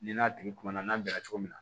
Ni n'a tigi kumana n'a bɛnna cogo min na